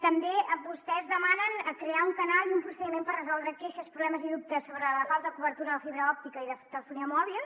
també vostès demanen crear un canal i un procediment per resoldre queixes problemes i dubtes sobre la falta de cobertura de la fibra òptica i de telefonia mòbil